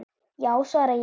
Já svara ég.